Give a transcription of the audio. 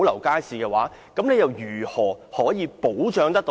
局長如何可以保障呢？